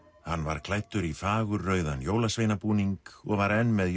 hann var klæddur í jólasveinabúning og var enn með